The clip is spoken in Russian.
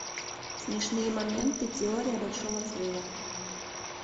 смешные моменты теория большого взрыва